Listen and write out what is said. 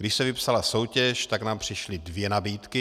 Když se vypsala soutěž, tak nám přišly dvě nabídky.